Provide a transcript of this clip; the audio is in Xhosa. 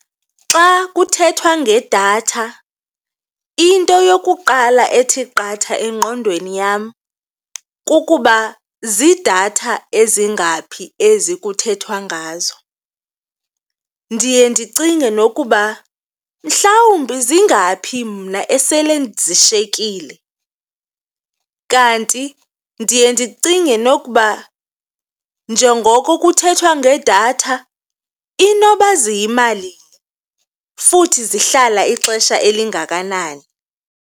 Xa kuthethwa ngedatha, into yokuqala ethi qatha engqondweni yam kukuba ziidatha ezingaphi ezi kuthethwa ngazo. Ndiye ndicinge nokuba mhlawumbi zingaphi mna esele zishiyekile, kanti ndiye ndicinge nokuba njengoko kuthethwa ngedatha inoba ziyimalini, futhi zihlala ixesha elingakanani.